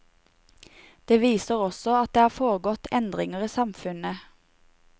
Det viser også at det har foregått endringer i samfunnet.